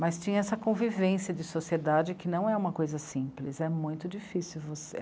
Mas tinha essa convivência de sociedade que não é uma coisa simples, é muito difícil você...